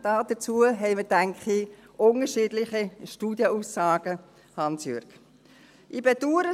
Dazu haben wir, denke ich, unterschiedliche Studienaussagen, Hans Jörg Rüegsegger.